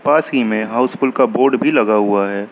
पास ही में हाउसफुल का बोर्ड भी लगा हुआ हैं।